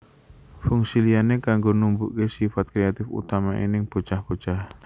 Fungsi liyane kanggo numbuhke sifat kreatif utamane ing bocah bocah